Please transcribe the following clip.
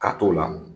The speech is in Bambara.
Ka t'o la